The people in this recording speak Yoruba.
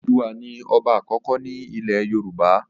Odùduwà ní ọba àkọ́kọ́ ní ilẹ̀ yoòbá